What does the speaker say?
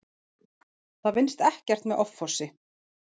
Það vinnist ekkert með offorsi.